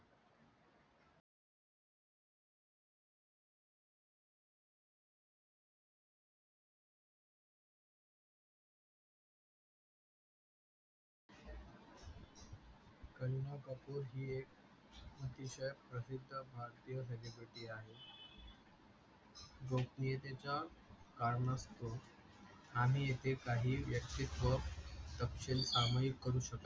करीना कपूर ही एक अतिशय प्रसिद्ध भारतीय सेलिब्रिटी आहे गोपणीतियेच्या कारण तो आम्ही इथे व्यक्तित्व तपसील काम ही करू शकतो.